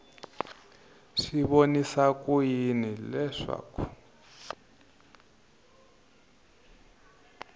swi vonisa ku yini leswaku